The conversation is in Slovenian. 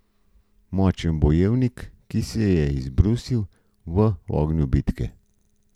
Močen bojevnik, ki se je izbrusil v ognju bitke.